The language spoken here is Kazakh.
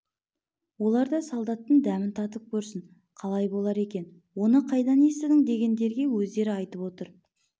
олар да солдаттың дәмін татып көрсін қалай болар екен оны қайдан естідің дегендерге өздері айтып отыр